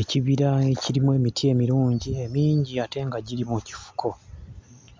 Ekibira ekirimu emiti emirungi emingi ate nga giri mu kifuko.